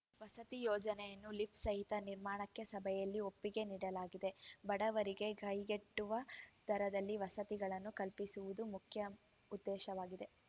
ವಸತಿ ಯೋಜನೆಯನ್ನು ಲಿಫ್‌ ಸಹಿತ ನಿರ್ಮಾಣಕ್ಕೆ ಸಭೆಯಲ್ಲಿ ಒಪ್ಪಿಗೆ ನೀಡಲಾಗಿದೆ ಬಡವರಿಗೆ ಕೈಗೆಟುವ ದರದಲ್ಲಿ ವಸತಿಗಳನ್ನು ಕಲ್ಪಿಸುವುದು ಮುಖ್ಯ ಉದ್ದೇಶವಾಗಿದೆ